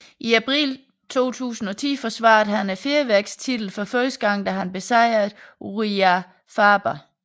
I april 2010 forsvarede han fjervægtstitlen for første gang da han besejrede Urijah Faber